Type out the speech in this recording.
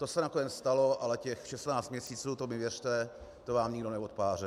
To se nakonec stalo, ale těch 16 měsíců, to mi věřte, to vám nikdo neodpáře.